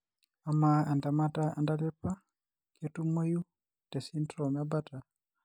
Amaa entemata entalipa ketumoyu tesindirom eBartter?